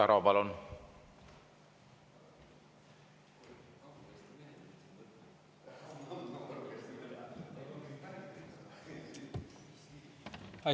Igor Taro, palun!